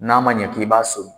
N'a ma ɲɛ k'i b'a so